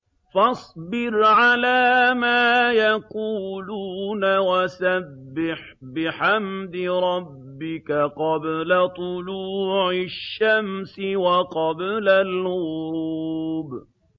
فَاصْبِرْ عَلَىٰ مَا يَقُولُونَ وَسَبِّحْ بِحَمْدِ رَبِّكَ قَبْلَ طُلُوعِ الشَّمْسِ وَقَبْلَ الْغُرُوبِ